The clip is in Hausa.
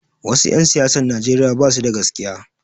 Wasu 'yan siyasan Nijeriya basu da gaskiya